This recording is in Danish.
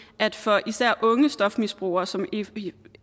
at for især unge stofmisbrugere som